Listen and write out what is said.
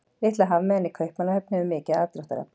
Litla hafmeyjan í Kaupmannahöfn hefur mikið aðdráttarafl.